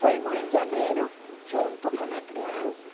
Fomos em janeiro, juntos com a criança.